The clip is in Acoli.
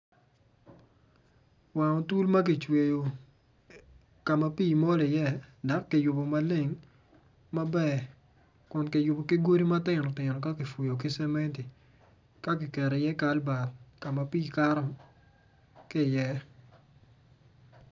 Wang otul ma ki cweyo ka pii mol iye dok ki yubu maleng maber kun ki yubu ki godi ma tinotino ka fuyu ki cementi ka kiketo iye kalbat ka ma pii kato ki iye